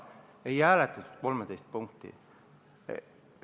Ei hääletatud 13 punkti.